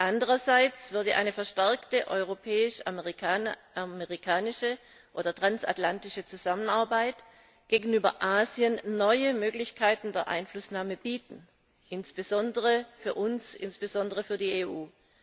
Andererseits würde eine verstärkte europäisch amerikanische oder transatlantische Zusammenarbeit gegenüber Asien neue Möglichkeiten der Einflussnahme bieten, insbesondere für uns, insbesondere für die EU.